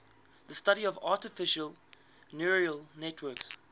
the study of artificial neural networks